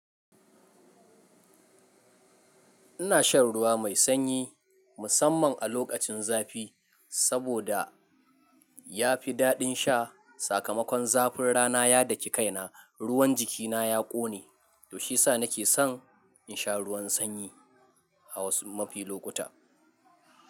Ina shan ruwa mai sanyi musamman a lokacin zafi, saboda ya fi daɗin sha. Sakamakon zafin rana ya daki kaina, ruwan jikina ya ƙone, to shiyasa nake son in sha ruwan sanyi a wasu mafi lokuta.